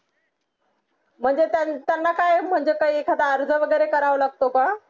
म्हणजे त्यांना काय म्हणजे काय एखादा अर्ज वगैरे करावा लागतो का